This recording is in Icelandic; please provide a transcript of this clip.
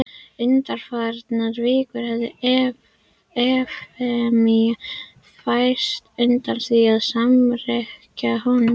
Undanfarnar vikur hafði Efemía færst undan því að samrekkja honum.